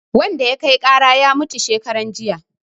Wanda ya kai ƙara ya mutu shekaran jiya